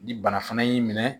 Ni bana fana y'i minɛ